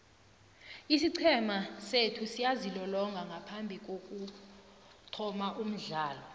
isiqhema sethu siyazilolonga ngaphambikokuthoma umdlalo